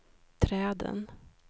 träden